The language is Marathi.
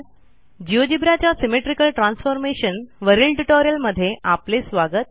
जिओजेब्रा च्या सिमेट्रिकल ट्रान्सफॉर्मेशन वरील ट्युटोरियलमध्ये आपले स्वागत